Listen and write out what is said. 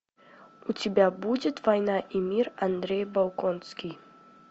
у тебя будет война и мир андрей болконский